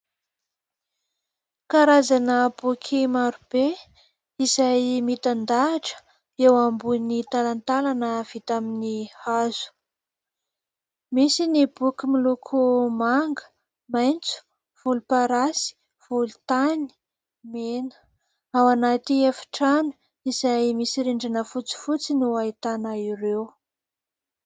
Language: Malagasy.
Karazana boky marobe izay mitan-dahatra eo ambony talantalana vita amin'ny hazo. Misy ny boky miloko manga, maitso, volomparasy, volontany, mena. Ao anaty efitrano izay misy rindrina fotsifotsy no ahitana ireo.